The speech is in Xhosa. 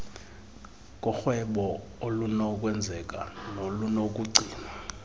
korhwebo olunokwenzeka nolunokugcinwa